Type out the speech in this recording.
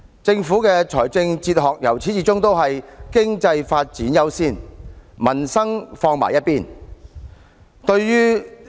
政府的理財哲學由始至終都是"經濟發展優先，民生放在一旁"。